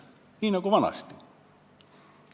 Ikka nii nagu vanasti.